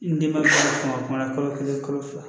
N denba tɔw kuma kalo kelen kalo fila